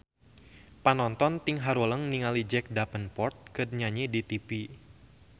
Panonton ting haruleng ningali Jack Davenport keur nyanyi di tipi